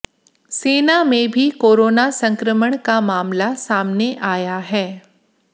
सेना में भी कोरोना संक्रमण का मामला सामने आया है